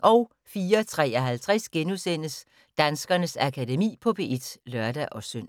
04:53: Danskernes Akademi på P1 *(lør-søn)